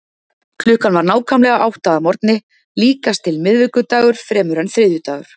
Klukkan var nákvæmlega átta að morgni, líkast til miðvikudagur fremur en þriðjudagur.